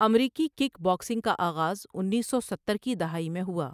امریکی kickboxing کا آغاز انیس سو ستر کی دہائی میں ہوا ۔